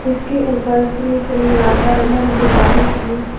इसके ऊपर श्री श्री राधा रमण बिहारी जी--